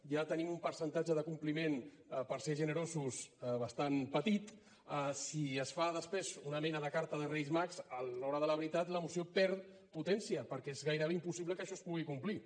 ja tenim un percentatge de compliment per ser generosos bastant petit si es fa després una mena de carta de reis mags a l’hora de la veritat la moció perd potència perquè és gairebé impossible que això es pugui complir